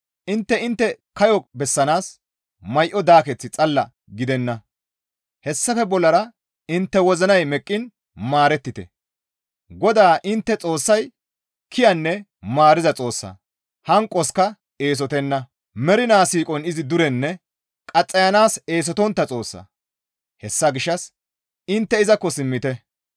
Intte intte kayo bessanaas may7o daaketh xalla gidenna; hessafe bollara intte wozinay meqqiin maarettite; GODAA intte Xoossay kiyanne maariza Xoossa, hanqoska eesotenna; mernaa siiqon izi durenne qaxxayanaas eesotontta Xoossa; hessa gishshas intte izakko simmite.